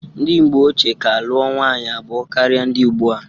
Ndi mgbe ochie ka lụọ nwanyị abụọ karịa ndị ụgbụa.